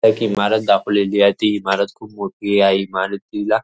एक इमारत दाखवेलेली आहे ती इमारत खूप मोठी आहे या इमारतीला--